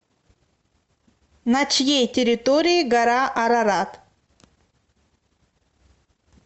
на чьей территории гора арарат